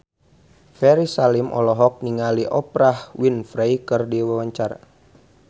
Ferry Salim olohok ningali Oprah Winfrey keur diwawancara